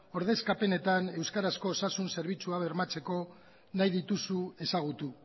ordezkapenetan euskarazko osasun zerbitzua bermatzeko nahi dituzu ezagutu